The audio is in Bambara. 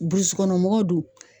Burusi kɔnɔ mɔgɔw dun